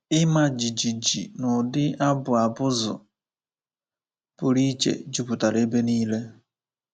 Ịma jijiji na ụdị abụ abụzụ pụrụ iche jupụtara ebe nile.